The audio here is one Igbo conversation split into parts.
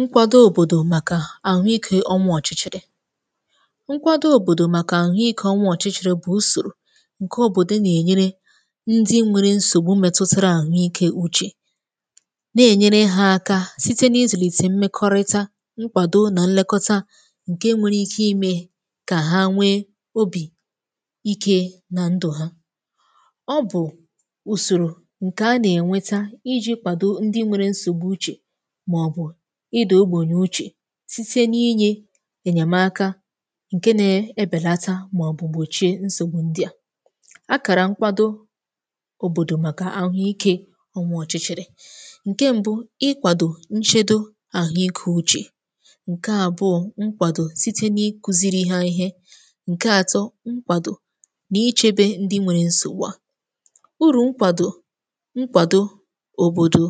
nkwàdo òbòdò màkà àhụ ikė ọnwọ̀chichìrì, nkwàdo òbòdò màkà àhụ ikė ọnwọ̀chichìrì bụ̀ ùsòrò ǹke òbòdò nà-ènyere ndị nwere nsògbu metụtara àhụ ikė uchè, na-ènyere ha aka site n’izùlìte mmekọrịta, nkwàdo nà nlekọta ǹke nwere ike imè kà ha nwe obì um ike nà ndụ̀ ha; ọ bụ̀ ùsòrò ǹkè a nà-ènweta iji kwàdo ndị nwere nsògbu uchè site n’inye enyèmaka ǹke na-ebèlata màọ̀bùgbòchie nsògbu ndị a, akàrà nkwàdo òbòdò màkà àhụikė ọnwa ọ̀chị̀chị̀rị̀ ǹke mbu̇ ịkwàdò nchedo àhụikȧ uchè ǹke àbụọ; mkwàdò site n’ikuziri ha ihe ǹke atọ, nkwàdò nà ichèbè ndị nwere nsògbù a, urù nkwàdò, nkwàdo òbòdò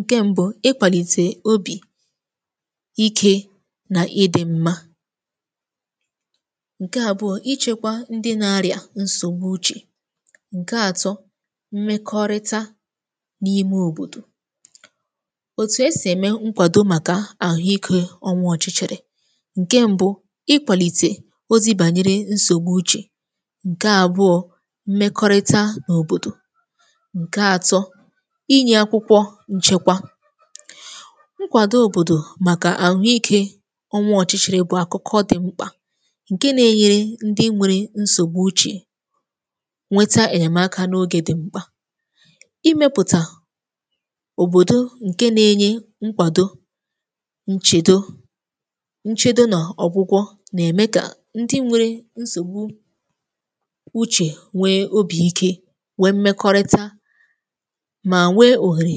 ǹke mbu̇ ịkwàlìtè obì um ikė nà ịdị̇ mmȧ ǹke àbụọ, ịchekwa ndị na-arị̀à nsògbu uchè ǹke atọ, mmekọrịta n’ime òbòdò òtù; esì ème nkwàdo màkà àhụ ikė ọnwa ọ̀chịchèrè ǹke mbu̇ ịkwàlìtè ozi bànyere nsògbu uchè ǹke àbụọ, mmekọrịta n’òbòdò nke atọ, ịnye akwụkwọ nchekwa; nkwàdo òbòdò màkà àhụikė ọnwa ọ̀chịchị̇rị̇ bụ̇ àkụkọ dị̀ mkpà ǹke nà-enyere ndị nwèrè nsògbu uchè nweta ènyèmaka n’ogè dị̀ mkpà, imepùtà ụm òbòdo ǹke nà-enye nkwàdo nchedo, nchèdo nọ̀, ọ̀gwụgwọ̇ nà-ème kà ndị nwèrè nsògbụ um u he wee obi ike nwee mmekọrịta ma nwee oghere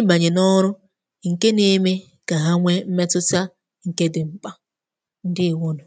ịbanye n’ọrụ ǹke nà-èmè kà ha nwe mmetụ̀ta ǹke dị̀ mkpà. ndeewonu.